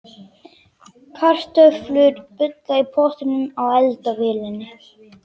Kartöflur bulla í pottinum á eldavélinni.